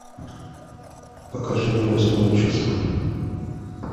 покажи мне восьмое чувство